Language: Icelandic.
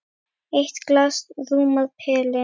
Eitt glas rúmar pelinn.